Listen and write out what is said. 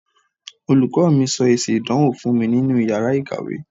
Olùkọ́ mi sọ èsì ìdánwò fún mi nínú iyàrá ìkàwé.